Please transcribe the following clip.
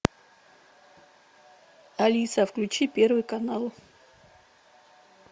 алиса включи первый канал